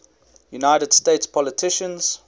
united states politicians